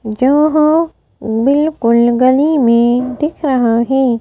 जहां बिल्कुल गली में दिख रहा है।